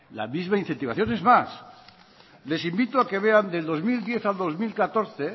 la misma incentivación es más les invito a que vean del dos mil diez al dos mil catorce